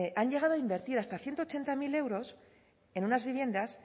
han llegado a invertir hasta ciento ochenta mil euros en unas viviendas